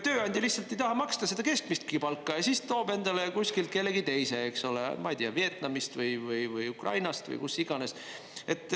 Tööandja lihtsalt ei taha maksta seda keskmistki palka ja siis toob endale kuskilt kellegi teise, eks ole, ma ei tea, Vietnamist või Ukrainast või kust iganes.